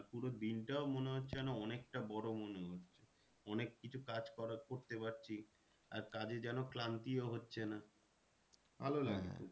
পুরো দিনটাও মনে হচ্ছে যেন অনেকটা বড়ো মনে হচ্ছে। অনেক কিছু কাজ করা, করতে পারছি। আর কাজে যেন ক্লান্তিও হচ্ছে না। ভালো লাগে।